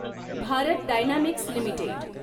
Bharat dynamics limited